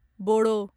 बोड़ो